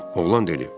Oğlan dedi.